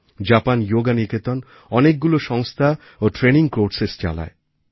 Japan Yoga Niketan অনেকগুলো সংস্থা ও ট্রেনিং কোর্সেসচালায়